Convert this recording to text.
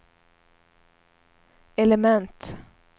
element